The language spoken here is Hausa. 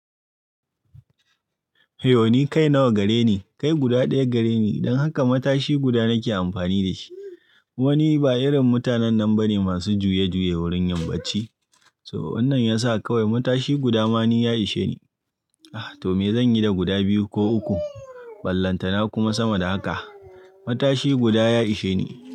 Hey ni kai nawa gare ni? Kai guda ɗaya gare ni. Don haka matashi guda nake amfani da shi. Wani ba irin mutanen nan bane masu juye juye wurin yinbacci To wannan yasa kawai matashi guda ma ni ya ishe ni. Ah, to me zanyi da guda biyu ko uku? Ballantana kuma sama da haka. Matashi guda ya ishe ni.